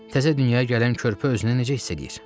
Təzə dünyaya gələn körpə özünü necə hiss eləyir?